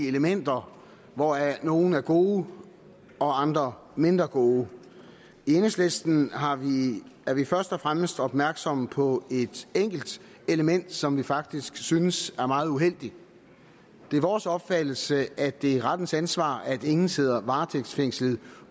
elementer hvoraf nogle er gode og andre mindre gode i enhedslisten er vi først og fremmest opmærksomme på et enkelt element som vi faktisk synes er meget uheldigt det er vores opfattelse at det er rettens ansvar at ingen sidder varetægtsfængslet